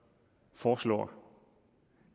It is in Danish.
foreslår